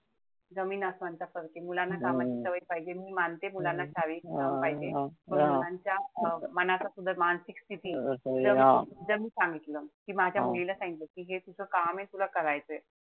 जमीन आसमान चा फरके. मुलांना कामाची सवय लावली पाहिजे मी मानते मुलांना सवय पाहिजे पण मुलांच्या मनाचा सुद्धा, मानसिक स्थिती जस मी सांगितलं. त्या मुलीला सांगितलं कि माझ्या मुलीला सांगितलं कि काम ए, तुला करायचंय.